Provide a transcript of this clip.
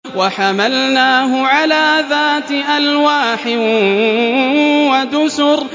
وَحَمَلْنَاهُ عَلَىٰ ذَاتِ أَلْوَاحٍ وَدُسُرٍ